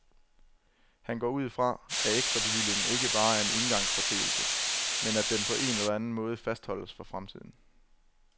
Han går ud fra, at ekstrabevillingen ikke bare er en engangsforeteelse, men at den på en eller anden måde fastholdes for fremtiden.